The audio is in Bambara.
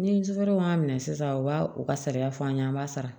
Ni sutaraw m'a minɛ sisan u b'a u ka sariya fɔ an ɲɛna an b'a sara